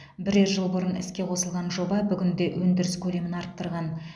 бірер жыл бұрын іске қосылған жоба бүгінде өндіріс көлемін арттырған